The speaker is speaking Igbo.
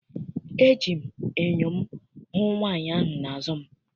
Eji m enyo m hụ nwaanyị ahụ n'azụ m.